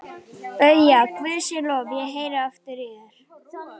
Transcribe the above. BAUJA: Guði sé lof, ég heyri aftur í þér!